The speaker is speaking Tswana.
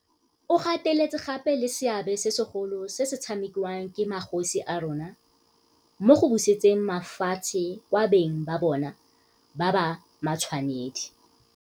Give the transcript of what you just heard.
O gateletse gape le seabe segolo se se tshamekiwang ke magosi a rona mo go busetseng mafatshe kwa beng ba bona ba ba matshwanedi.